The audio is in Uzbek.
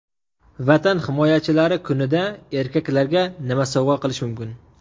Vatan himoyachilari kunida erkaklarga nima sovg‘a qilish mumkin?.